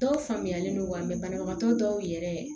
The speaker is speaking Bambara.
Dɔw faamuyalen don wa banabagatɔ dɔw yɛrɛ